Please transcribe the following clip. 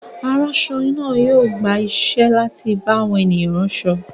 Aránṣọ náà yóò gba iṣẹ́ láti bá àwọn ènìyàn rán aṣọ.